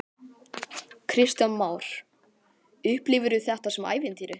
Kristján Már: Upplifirðu þetta sem ævintýri?